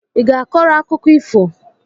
I ga-akọrọ akụkọ ifo?